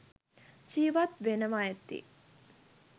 ජීවත් වෙනවා ඇති.